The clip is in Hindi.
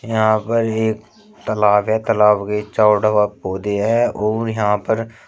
यहां पर एक तालाब है तालाब के पौधे हैं और यहां पर--